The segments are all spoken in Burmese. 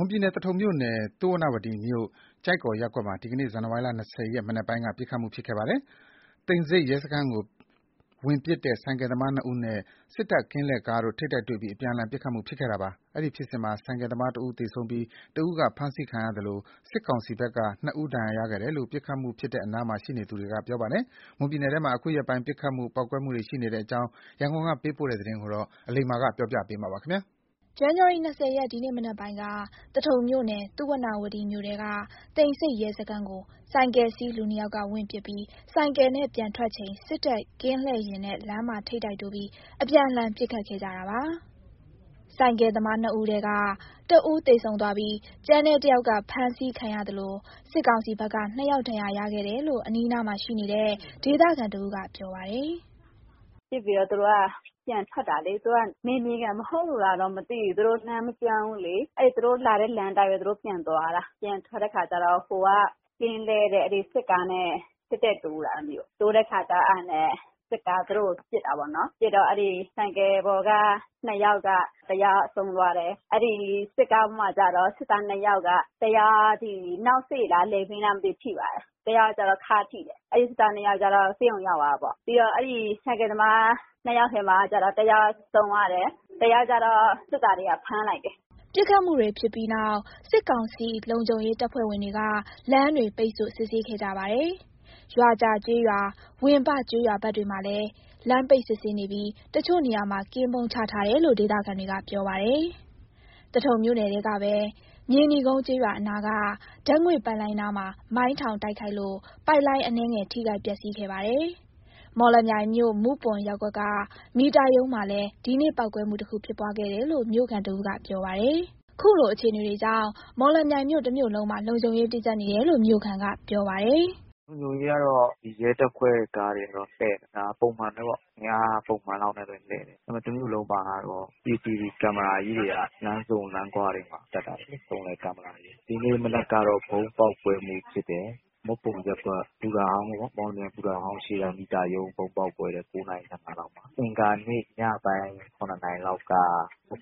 မွန်ပြည်နယ်၊ သထုံမြို့နယ်၊ သုဝဏ္ဏဝတီမြို့၊ ကျိုက္ကော်ရပ်ကွက်မှာ ဒီနေ့ ဇန်နဝါရီလ ၂၀ ရက် မနက်ပိုင်းက ပစ်ခတ်မှု ဖြစ်ခဲ့ပါ တယ်။ သိမ်ဆိပ်ရဲစခန်းကို ဝင်ပစ်တဲ့ ဆိုင်ကယ်သမား နှစ်ဦးနဲ့ စစ်တပ်ကင်းလှည့်ကားတို့ ထိပ်တိုက်တွေ့ပြီး အပြန်အလှန် ပစ်ခတ်မှုဖြစ်ခဲ့တာပါ။ အဲဒီဖြစ်စဉ်မှာ ဆိုင်ကယ်သမားတဦး သေဆုံးပြီး တဦးက ဖမ်းဆီးခံရသလို စစ်ကောင်စီဘက်က နှစ်ဦး ဒဏ်ရာရခဲ့တယ်လို့ ပစ်ခတ်မှုဖြစ်တဲ့နားမှာ ရှိနေသူတဦးကပြောပါတယ်။ မွန်ပြည်နယ်ထဲမှာ အခုရက်ပိုင်း ပစ်ခတ်မှု၊ ပေါက်ကွဲမှု တွေ ရှိနေတဲ့အကြောင်း ရန်ကုန်ကပေးပို့တဲ့သတင်းကို အလိမ္မာကပြောပြပါမယ်။ ဇန်နဝါရီ ၂၀ ရက် ဒီနေ့မနက်ပိုင်းက သထုံမြို့နယ် သုဝဏ္ဏဝတီမြို့ထဲက သိမ်ဆိပ်ရဲစခန်းကို ဆိုင်ကယ်စီး လူနှစ်ယောက်က ဝင်ပစ်ပြီး ဆိုင်ကယ်နဲ့ ပြန်ထွက်ချိန် စစ်တပ်ကင်းလှည့်ယာဉ်နဲ့ လမ်းမှာ ထိပ်တိုက်တိုးပြီး အပြန်အလှန် ပစ်ခတ်ခဲ့ကြတာပါ။ ဆိုင်ကယ်သမားနှစ်ဦးထဲက တဦး သေဆုံးသွားပြီး ကျန်တဲ့တယောက်က ဖမ်းဆီးခံရသလို စစ်ကောင်စီဘက်က နှစ်ယောက် ဒဏ်ရာခဲ့တယ်လို့ အနီးအနားမှာရှိနေတဲ့ ဒေသခံတဦးက ပြောပါတယ်။ “ပစ်ပြီးတော့ သူတို့က ပြန်ထွက်တာလေ။ သူတို့က နယ်မြေခံ မဟုတ်လို့လားတော့ မသိဘူး။ သူတို့လမ်းမကျွမ်းဘူးလေ။ အဲ့ သူတို့ လာတဲ့လမ်းအတိုင်းပဲ သူတို့ပြန်သွားတာ။ ပြန်ထွက်တဲ့အခါကျတော့ ဟိုက ကင်းလှည့်တဲ့ အဲ့ဒီစစ်ကားနဲ့ တည့်တည့်တိုး တာ အဲ့ဒါမျိုး တိုးတဲ့အခါကျ အဲ့ဒါက စစ်သား သူတို့ကို ပစ်တာပေါ့နော်။ ပစ်တော့ အဲ့ဒီဆိုင်ကယ်ပေါ်က နှစ်ယောက်က တယောက်က ဆုံးသွားတယ်။ အဲ့ဒီစစ်ကားပေါ်မှာကျတော့ စစ်သားနှစ်ယောက်က တယောက် နောက်စိလား လည်ပင်းလား မသိဘူး ထိသွားတာ တယောက်က ခါးထိတယ်။ အဲ့စစ်သားနှစ်ယောက်ကျတော့ ဆေးရုံရောက်သွားတာပေါ့။ ပြီးတော့ အဲ့ဒီဆိုင်ကယ်သမား နှစ်ယောက်ထဲမှာကျတော့ တယောက်ဆုံးသွားတယ်။ တယောက်ကျတော့ စစ်သားတွေက ဖမ်းလိုက်တယ်။” ပစ်ခတ်မှုတွေ ဖြစ်ပြီးနောက် စစ်ကောင်စီ လုံခြုံရေးတပ်ဖွဲ့ဝင်တွေက လမ်းတွေ ပိတ်ဆို့ စစ်ဆေးခဲ့ကြပါတယ်။ ရွာကြာကျေးရွာ၊ ဝင်းပကျေးရွာဘက်တွေလည်း လမ်းပိတ်စစ်ဆေးနေပြီး တချို့နေရာမှာ ကင်းပုန်းချထားတယ်လို့ ဒေသခံတွေက ပြောပါတယ်။ သထုံမြို့နယ်ထဲကပဲ မြေနီကုန်းကျေးရွာအနားက ဓါတ်ငွေ့ပိုက်လိုင်းနားမှာ မိုင်းထောင်တိုက်ခိုက်လို့ ပိုက်လိုင်း အနည်းငယ် ထိခိုက်ပျက်စီးခဲ့ပါတယ်။ မော်လမြိုင်မြို့ မုပွန်ရပ်ကွက်က မီတာရုံးမှာလည်း ဒီနေ့ ပေါက်ကွဲမှုတခုဖြစ်ပွားခဲ့တယ်လို့ မြို့ခံတဦးက ပြောပါတယ်။ ခုလို အခြေအနေတွေကြောင့် မော်လမြိုင်မြို့ တမြို့လုံးမှာ လုံခြုံရေးတင်းကြပ်နေတယ်လို့ မြို့ခံကပြောပါတယ်။ “လုံခြုံရေးကတော့ ဒီရဲတပ်ဖွဲ့ကားတွေ လှည့်နေတယ်။ ဒါပုံမှန်ပဲပေါ့။ အင်အားပုံမှန်လောက်နဲ့ပဲ လှည့်တယ်။ တမို့လုံးမှာ ကတော့ CCTV ကင်မရာကြီးတွေက လမ်းဆုံလမ်းခွတွေမှာ တပ်ထားတယ်လေ။ စုံလည် ကင်မရာကြီးနဲ့။ ဒီနေ့မနက်ကတော့ ဗုံးပေါက်ကွဲမှုဖြစ်တယ်။ မုပွန်ရပ်ကွက် ဘူတာဟောင်းပေါ့နော်၊ မော်လမြိုင်ဘူတာဟောင်းရှေ့က မီတာရုံး ဗုံးပေါက်ကွဲတာ ၉ နာရီ ၁၅ လောက်မှာ အင်္ဂါနေ့ ညပိုင်း ၇ နာရီလောက်က အဝေး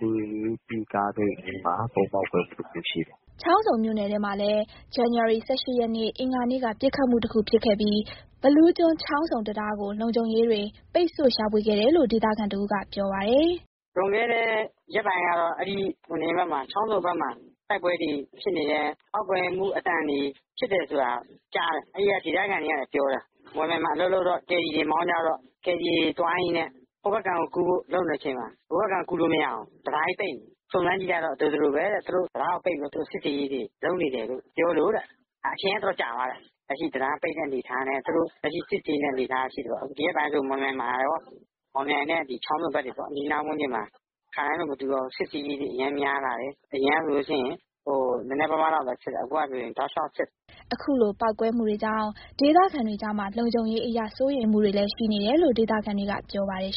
ပြေးကားဂိတ်အနီးမှာ ပေါက်ကွဲမှုတခုရှိတယ်။” ချောင်းဆုံမြို့နယ်ထဲမှာလည်း ဇန်နဝါရီ ၁၈ ရက်နေ့ အင်္ဂါနေ့က ပစ်ခတ်မှုတခုဖြစ်ခဲ့ပြီး ဘီးလူးကျွန်း-ချောင်းဆုံ တံတားကို လုံခြုံရေးတွေ ပိတ်ဆို့ ရှာဖွေခဲ့တယ်လို့ ဒေသခံတဦးက ပြောပါတယ်။ “လွန်ခဲ့တဲ့ ရက်ပိုင်းကတော့ အဲ့ဒီ ချောင်းဆုံဘက်မှာ တိုက်ပွဲတွေ ဖြစ်နေတယ်။ ပေါက်ကွဲမှုအသံတွေ ဖြစ်တယ်ဆိုတာ ကြားတယ်။ အဲ့ဒီက ဒေသခံတွေကလည်း ပြောတယ်။ မော်လမြိုင်မှာ အလုပ်လုပ်တော့ ကယ်ရီမောင်းကြတော့ ကယ်ရီသွားရင်းနဲ့ ဟိုဘက်ကမ်းကူးဖို့ လုပ်နေတဲ့အချိန်မှာ ဟိုဘက်ကမ်းကို ကူးလို့မရဘူး။ တံတားကြီးပိတ်နေတယ်။ စုံစမ်းကြည့်လိုက်တော့ ဒီလို ဒီလိုပဲတဲ့ သူတို့ တံတားကိုပိတ်ပြီးတော့ စစ်ဆေးရေးတွေ လုပ်နေတယ်လို့ ပြောလို့တဲ့ အချိန်က တော်တော်ကြာသွားတယ်။ လက်ရှိ တံတားပိတ်တဲ့ အနေအထားနဲ့ သူတို့ လက်ရှိစစ်ဆေးနေတဲ့ အနေအထားရှိတာပေါ့။ ဒီရက်ဆို မော်လမြိုင်နဲ့ ချောင်းဆုံဘက်တွေပေါ့ အနီးအနားဝန်းကျင်မှာ ခါတိုင်းနဲ့ မတူတော့ဘူး စစ်ဆေးရေးတွေ အရမ်းများလာတယ်။ အရင်က ဆိုလို့ရှိရင် နည်းနည်းပါးပါးလောက်ပဲ စစ်တယ်။ အခုကဆိုရှိရင် လျှောက်စစ်တယ်။” အခုလိုပေါက်ကွဲမှုတွေကြောင့် ဒေသခံတွေကြားမှာ လုံခြုံရေးအရ စိုးရိမ်မှုတွေလည်း ရှိနေတယ်လို့ ဒေသခံတွေကပြောပါတယ်